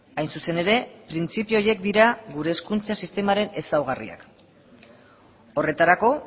hain zuzen ere printzipio horiek dira gure hezkuntza sistemaren ezaugarriak horretarako